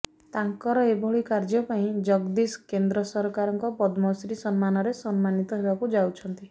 ତାଙ୍କର ଏଭଳି କାର୍ଯ୍ୟ ପାଇଁ ଜଗଦୀଶ କେନ୍ଦ୍ର ସରକାରଙ୍କ ପଦ୍ମଶ୍ରୀ ସମ୍ମାନରେ ସମ୍ମାନୀତ ହେବାକୁ ଯାଉଛନ୍ତି